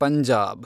Punjab